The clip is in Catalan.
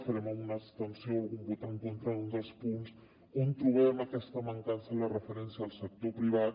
farem alguna abstenció o algun vot en contra en un dels punts on trobem aquesta mancança la referència al sector privat